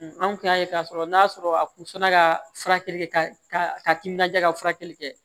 anw kun y'a ye k'a sɔrɔ n'a sɔrɔ a kun fana ka furakɛli kɛ ka timinanja ka furakɛli kɛ